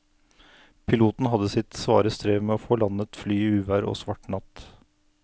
Piloten hadde sitt svare strev med å få landet flyet i uvær og svart natt.